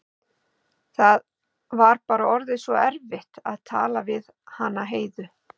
Það var bara orðið svo erfitt að tala við hana Heiðu.